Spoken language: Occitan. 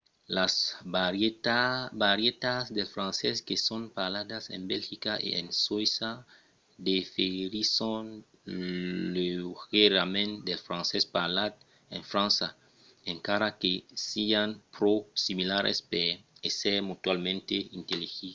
las varietats del francés que son parladas en belgica e en soïssa diferisson leugièrament del francés parlat en frança encara que sián pro similaras per èsser mutualament intelligiblas